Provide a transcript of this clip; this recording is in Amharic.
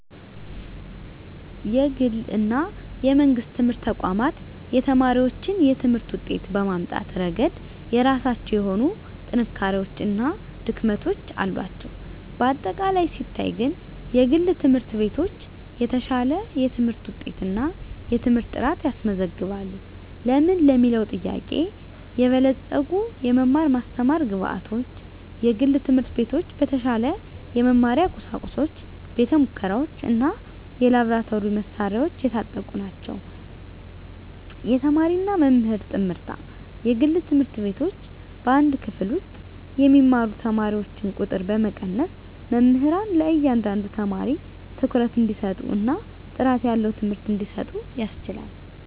የግል እና የመንግሥት ትምህርት ተቋማት የተማሪዎችን የትምህርት ውጤት በማምጣት ረገድ የራሳቸው የሆኑ ጥንካሬዎች እና ድክመቶች አሏቸው። በአጠቃላይ ሲታይ ግን፣ የግል ትምህርት ቤቶች የተሻለ የትምህርት ውጤት እና የትምህርት ጥራት ያስመዘግባሉ። ለምን ለሚለዉ ጥያቄ -የበለፀጉ የመማር ማስተማር ግብአቶች፦ የግል ትምህርት ቤቶች በተሻለ የመማሪያ ቁሳቁሶች፣ ቤተ-ሙከራዎች፣ እና የላብራቶሪ መሣሪያዎች የታጠቁ ናቸው። -የተማሪና መምህር ጥምርታ፦ የግል ትምህርት ቤቶች በአንድ ክፍል ውስጥ የሚማሩ ተማሪዎችን ቁጥር በመቀነስ፣ መምህራን ለእያንዳንዱ ተማሪ ትኩረት እንዲሰጡ እና ጥራት ያለው ትምህርት እንዲሰጡ ያስችላል።